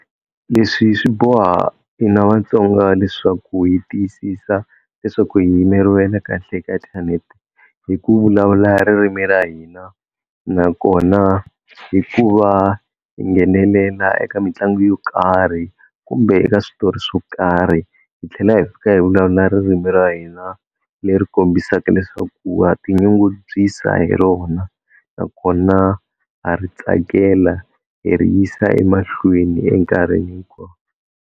Leswi swi boha hina Vatsonga leswaku hi tiyisisa leswaku hi yimeriwe na kahle ka inthanete hi ku vulavula ririmi ra hina, nakona hi ku va hi nghenelela eka mitlangu yo karhi kumbe eka switori swo karhi hi tlhela hi fika hi vulavula ririmi ra hina leri kombisaka leswaku ha ti nyungubyisa hi rona nakona ha ri tsakela hi ri yisa emahlweni enkarhini hinkwawo.